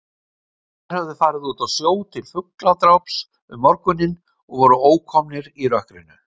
Þeir höfðu farið út á sjó til fugladráps um morguninn og voru ókomnir í rökkrinu.